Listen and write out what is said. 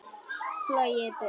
Flogið burt.